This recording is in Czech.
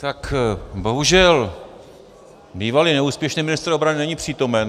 Tak bohužel bývalý neúspěšný ministr obrany není přítomen.